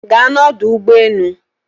ga na ọdụ ụgbọ enu!